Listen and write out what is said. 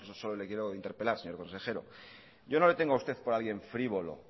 solo le quiero interpelar señor consejero yo no le tengo a usted por alguien frívolo